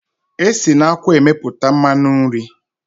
Esi na akwụ emepụta mmanụ nri.